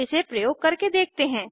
अब इसे प्रयोग करके देखते हैं